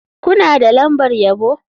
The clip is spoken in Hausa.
Kuna da lambar yabo?